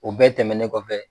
O bɛɛ tɛmɛnen kɔfɛ.